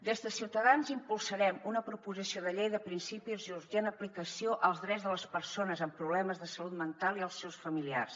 des de ciutadans impulsarem una proposició de llei de principis i urgent aplicació als drets de les persones amb problemes de salut mental i als seus familiars